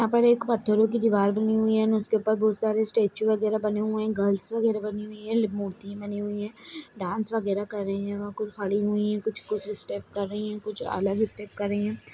यहाँ पर एक पत्थरो दिवार हुई हैं एंड उसके ऊपर बहुत सारे स्टेचु वगेरा बने हुए हैं गर्ल्स वगेरा बनी हुई हैं मूर्ति बनी हुई हैं डांस वगेरा कर रहे हैं वहाँ कुछ खड़ी हुई हैं कुछ स्टेप कर रही हैं कुछ अलग स्टेप कर रही हैं।